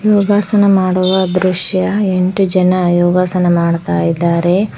ಯೋಗಾಸನ ಮಾಡುವ ದೃಶ್ಯ ಎಂಟು ಜನ ಯೋಗಾಸನ ಮಾಡ್ತಾ ಇದ್ದಾರೆ.